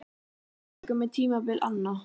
Hjá mörgum er tímabil anna.